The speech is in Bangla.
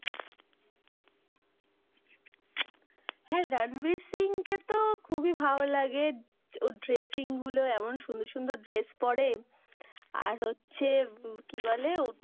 হ্যাঁ, রণভীর সিং-কে তো খুবই ভালো লাগে, ওর dressing গুলো এমন সুন্দর সুন্দর dress পরে আর হচ্ছে কি বলে,